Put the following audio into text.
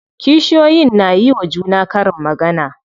Kishiyoyin na yiwa juna karin magana.